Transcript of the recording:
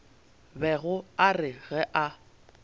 bego a re ge a